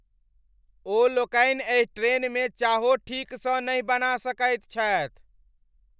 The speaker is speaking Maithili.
ओ लोकनि एहि ट्रेनमे चाहो ठीकसँ नहि बना सकैत छथि!